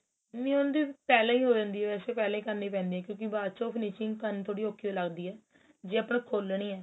ਨੀ ਉਹਨਾ ਦੀ ਪਹਿਲਾਂ ਹੀ ਹੋ ਜਾਂਦੀ ਏ ਵੇਸੇ ਪਹਿਲਾਂ ਈ ਕਰਨੀ ਪੈਂਦੀ ਏ ਕਿਉਂਕਿ ਬਾਚੋ finishing ਕਰਨੀ ਥੋੜੀ ਔਖੀ ਓ ਲੱਗਦੀ ਏ ਜੇ ਆਪਾਂ ਨੇ ਖੋਲਣੀ ਏ